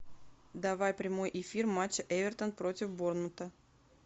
давай прямой эфир матча эвертон против борнмута